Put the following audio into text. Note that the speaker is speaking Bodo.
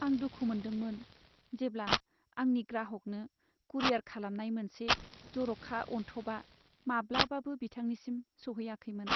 आं दुखु मोनदोंमोन जेब्ला आंनि ग्राहकनो कुरियार खालामनाय मोनसे जर'खा अनथोबआ माब्लाबाबो बिथांनिसिम सौहैयाखैमोन।